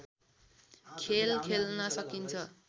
खेल खेल्न सकिन्छ